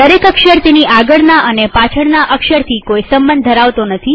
દરેક અક્ષર તેની આગળના અને પાછળના અક્ષરથી કોઈ સંબંધ ધરાવતો નથી